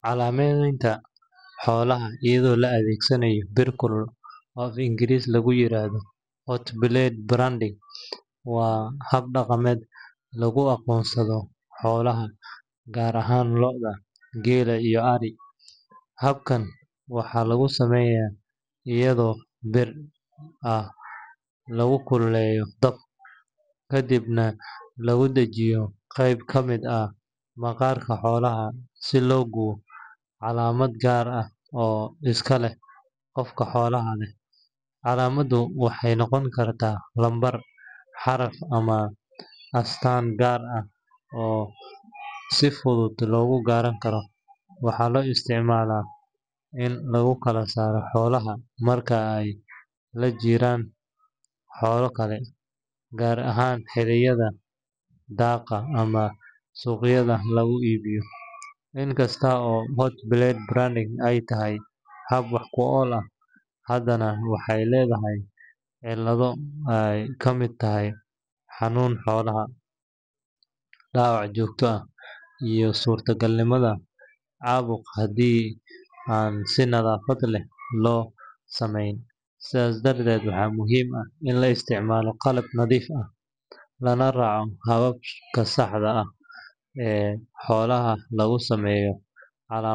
Calaamadaynta xoolaha iyadoo la adeegsanayo bir kulul, oo af-Ingiriisi lagu yiraahdo hot blade branding, waa hab dhaqameed lagu aqoonsado xoolaha gaar ahaan lo’da, geela iyo ari. Habkan waxaa lagu sameeyaa iyadoo bir bir ah lagu kululeeyo dab, kadibna lagu dhajiyo qayb ka mid ah maqaarka xoolaha si loo gubo calaamad gaar ah oo iska leh qofka xoolaha leh. Calaamaddu waxay noqon kartaa lambar, xaraf ama astaan gaar ah oo si fudud lagu garan karo. Waxaa loo isticmaalaa in lagu kala saaro xoolaha marka ay la jiraan xoolo kale, gaar ahaan xilliyada daaqa ama suuqyada lagu iibiyo.In kasta oo hot blade branding ay tahay hab wax ku ool ah, haddana waxay leedahay cillado ay ka mid tahay xanuunka xoolaha, dhaawac joogto ah iyo suurtagalnimada caabuq haddii aan si nadaafad leh loo sameyn. Sidaa darteed, waxaa muhiim ah in la isticmaalo qalab nadiif ah, lana raaco hababka saxda ah ee xoolaha loogu sameeyo calaamad.